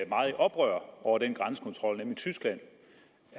meget i oprør over den grænsekontrol nemlig tyskland